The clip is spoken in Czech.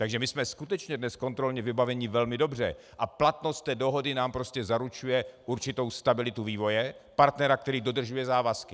Takže my jsme skutečně dnes kontrolně vybaveni velmi dobře a platnost té dohody nám prostě zaručuje určitou stabilitu vývoje, partnera, který dodržuje závazky.